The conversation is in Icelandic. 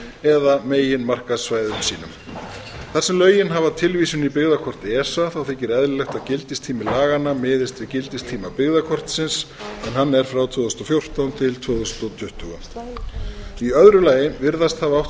eða meginmarkaðssvæðum sínum þar sem lögin hafa tilvísun í byggðakort esa þykir eðlilegt að gildistími laganna miðist við gildistíma byggðakortsins en hann er frá tvö þúsund og fjórtán til tvö þúsund tuttugu í öðru lagi virðast hafa átt